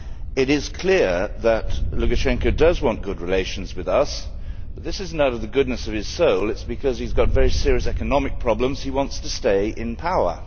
It is clear that Lukashenko does want good relations with us, but this is not out of the goodness of his soul it is because he has very serious economic problems and wants to stay in power.